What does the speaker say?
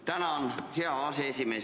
Tänan, hea aseesimees!